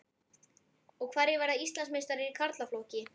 Hverjir verða Íslandsmeistarar í karlaflokki?